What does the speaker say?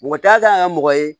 Mɔgɔ t'a kan ye mɔgɔ ye